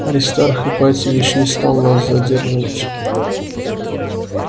аристарх ипатьевич не стал нас задерживать